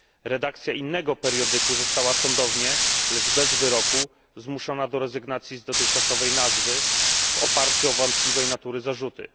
Redakcja innego periodyku została sądownie, lecz bez wyroku, zmuszona do rezygnacji z dotychczasowej nazwy w oparciu o wątpliwej natury zarzuty.